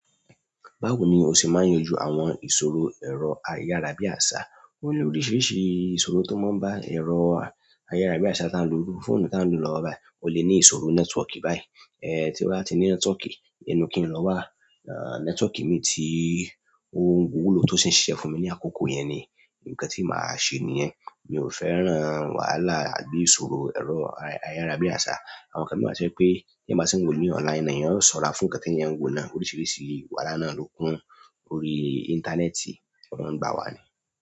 Báwo ni o ṣe máa ń yanjú àwọn ìṣòro ẹ̀rọ ayárabíàṣá? O ní oríṣiríṣi ìṣòro tó máa ń bá ẹ̀rọ ayárabíàṣá tán lo fóònù tá ń lọ lọ́wọ́ báyìí, o lè ní ìṣòro nẹ́tíwọ́kì báyìí. Ti o ba ti ni network inú ki n lo wa nẹ́tíwọ́kì mi ti o wuló tó sì ń ṣíṣe fún mi ní àkókò yẹn ni, ǹnkan tí màá ṣe nìyen. Mi ò fẹ́ràn wàhálà àbí ìṣòro ẹ̀rọ ayárabíàṣá. Àwọn nǹkan mi wa tó jẹ pé, tí eeyan bá tí ń wo ni online, ni èèyàn ṣọra fún ǹnkan tí èèyàn ń wo náà. Oríṣiríṣi wàrà náà lokun orí internet wọn máa n gba wa ni.